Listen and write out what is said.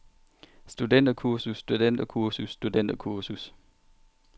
studenterkursus studenterkursus studenterkursus